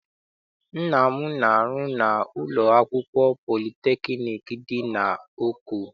Nna m na-arụ na ụlọ akwụkwọ politekniik dị n'Oko.